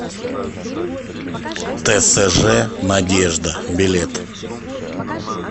тсж надежда билет